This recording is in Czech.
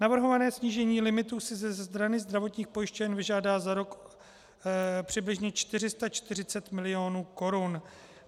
Navrhované snížení limitu si ze strany zdravotních pojišťoven vyžádá za rok přibližně 440 milionů korun.